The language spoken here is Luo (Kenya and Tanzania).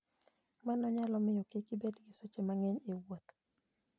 Mano nyalo miyo kik ibed gi seche mang'eny e wuoth.